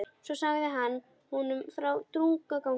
Svo sagði hann honum frá draugaganginum.